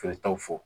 Feeretaw fɔ